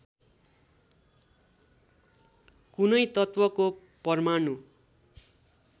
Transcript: कुनै तत्त्वको परमाणु